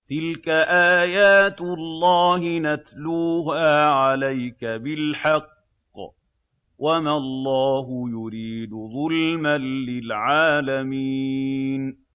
تِلْكَ آيَاتُ اللَّهِ نَتْلُوهَا عَلَيْكَ بِالْحَقِّ ۗ وَمَا اللَّهُ يُرِيدُ ظُلْمًا لِّلْعَالَمِينَ